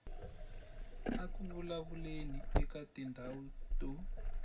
eku vulavuleni eka tindhawu to